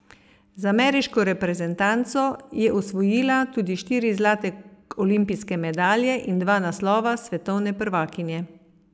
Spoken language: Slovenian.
Z ameriško reprezentanco je osvojila tudi štiri zlate olimpijske medalje in dva naslova svetovne prvakinje.